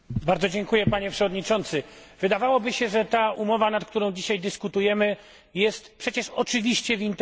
Wydawałoby się, że umowa, o której dzisiaj dyskutujemy, jest przecież oczywiście w interesie obywateli Unii Europejskiej.